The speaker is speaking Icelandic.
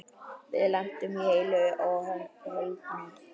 Við lentum heilu og höldnu.